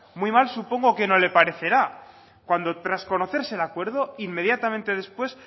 muy mal supongo que no le parecerá cuando tras conocerse el acuerdo inmediatamente después